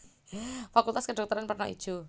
Fakultas Kedhokteran werna ijo